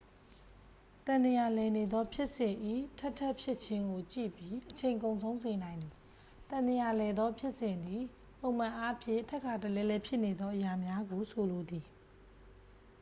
သံသရာလည်နေသော ဖြစ်စဉ်၏ ထပ်ထပ်ဖြစ်ခြင်းကို ကြည့်ပြီး အချိန်ကုန်ဆုံးစေနိုင်သည် သံသရာလည်သော ဖြစ်စဉ်သည် ပုံမှန်အားဖြင့်ထပ်ခါတလဲလဲဖြစ်နေသော အရာများကိုဆိုလိုသည်